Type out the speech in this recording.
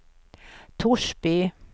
Torsby